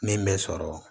Min bɛ sɔrɔ